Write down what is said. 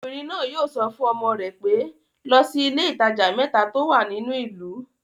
Obìnrin náà yóò sọ fún ọmọ rẹ pé, 'lọ sí ilé-alájà mẹ́ta tó wà nínú ìlú'